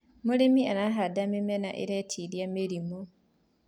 arĩmi marahanda mĩmera iretĩĩria mĩrimũ